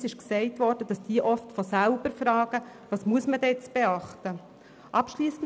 : Es wurde uns gesagt, dass diese oft von sich aus fragen, was beachtet werden muss.